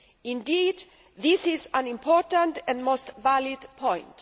Indeed, this is an important and most valid point.